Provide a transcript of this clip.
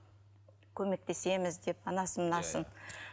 көмектесеміз деп анасын мынасын